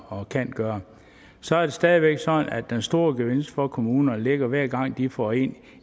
og kan gøre så er det stadig væk sådan at den store gevinst for kommunerne ligger hver gang de får en